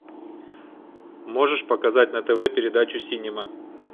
можешь показать на тв передачу синема